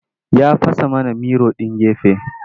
Ya fasa mana miro ɗin gefe.